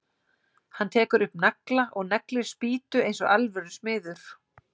Hann tekur upp nagla og neglir spýtu eins og alvöru smiður.